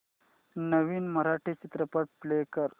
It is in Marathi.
नवीन मराठी चित्रपट प्ले कर